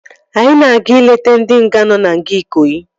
Anyị na-eje ileta ndị nga nọ na nga Ikoyi